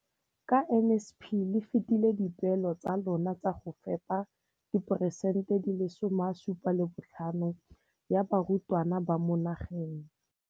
Ka NSNP le fetile dipeelo tsa lona tsa go fepa dipresente di le 75 ya barutwana ba mo nageng.